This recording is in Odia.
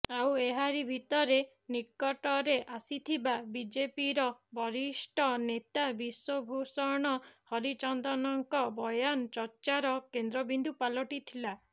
ଆଉ ଏହାରି ଭିତରେ ନିକଟରେ ଆସିଥିବା ବିଜେପିର ବରିଷ୍ଠ ନେତା ବିଶ୍ୱଭୂଷଣ ହରିଚନ୍ଦନଙ୍କ ବୟାନ ଚର୍ଚ୍ଚାର କେନ୍ଦ୍ରବିନ୍ଦୁ ପାଲଟିଥିଲା